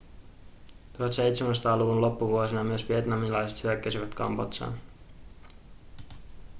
1700-luvun loppuvuosina myös vietnamilaiset hyökkäsivät kambodžaan